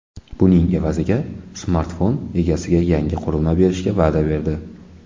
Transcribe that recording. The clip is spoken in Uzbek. Buning evaziga smartfon egasiga yangi qurilma berishga va’da berdi.